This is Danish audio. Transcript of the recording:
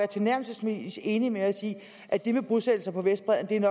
tilnærmelsesvis enig med os i at det med bosættelser på vestbredden